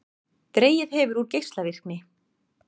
Dregið hefur úr geislavirkni